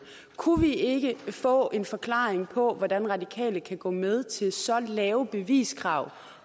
kunne vi ikke få en forklaring på hvordan de radikale kan gå med til så lave beviskrav